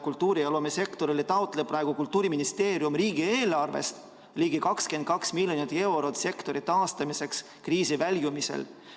Kultuuri‑ ja loomesektorile taotleb Kultuuriministeerium riigieelarvest ligi 22 miljonit eurot sektori taastamiseks kriisist väljumisel.